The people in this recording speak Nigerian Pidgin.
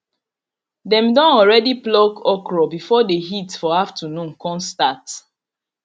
dem don already pluck okra before the heat for afternoon con start